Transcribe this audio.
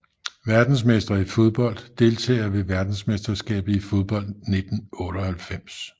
Verdensmestre i fodbold Deltagere ved verdensmesterskabet i fodbold 1998